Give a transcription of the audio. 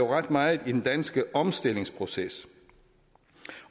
ret meget i den danske omstillingsproces